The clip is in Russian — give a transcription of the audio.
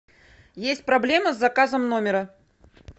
есть проблема с заказом номера